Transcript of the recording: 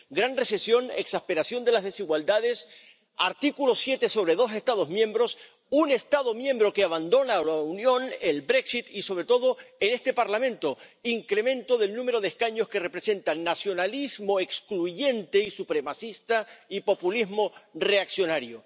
Gran recesión, exasperación de las desigualdades, aplicación del artículo 7 a dos Estados miembros, un Estado miembro que abandona la Unión ―el Brexit y, sobre todo, en este Parlamento, incremento del número de escaños que representan nacionalismo excluyente y supremacista y populismo reaccionario.